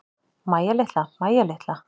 Mæja litla, Mæja litla.